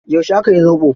Yauce aka yi zoɓo?